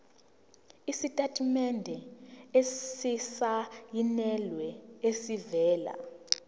isitatimende esisayinelwe esivela